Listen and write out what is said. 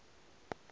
a setlogo a be a